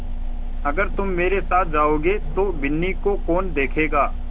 अगर तुम मेरे साथ जाओगे तो बिन्नी को कौन देखेगा